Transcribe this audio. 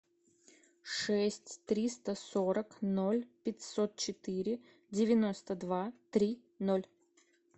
шесть триста сорок ноль пятьсот четыре девяносто два три ноль